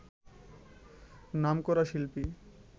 নামকরা শিল্পী